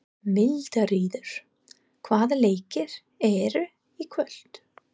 Mildríður, hvaða leikir eru í kvöld?